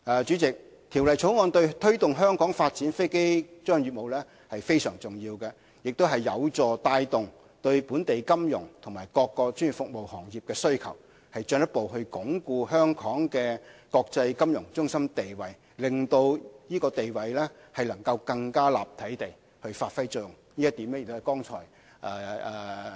主席，《條例草案》對推動香港發展飛機租賃業務非常重要，亦有助帶動對本地金融和各專業服務行業的需求，進一步鞏固香港的國際金融中心地位，令這地位更立體地發揮作用。